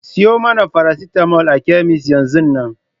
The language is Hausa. Ki sayo mana farasitamol a kemis yanzun nan!